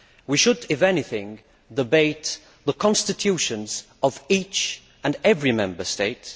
We should, if anything, debate the constitutions of each and every Member State.